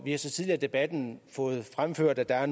er så tidligere i debatten fremført at